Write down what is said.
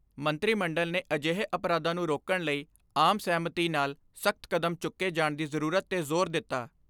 ਮੰਤਰੀ ਮੰਡਲ ਨੇ ਅਜਿਹੇ ਅਪਰਾਧਾਂ ਨੂੰ ਰੋਕਣ ਲਈ ਆਮ ਸਹਿਮਤੀ ਨਾਲ ਸਖਤ ਕਦਮ ਚੁੱਕੇ ਜਾਣ ਦੀ ਜ਼ਰੂਰਤ 'ਤੇ ਜ਼ੋਰ ਦਿੱਤਾ।